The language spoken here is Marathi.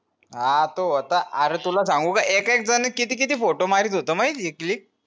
हा तू होता अर्रर्र तुला सांगू का ऐक एका जनानी किती किती photo मारीत होत माहितेय click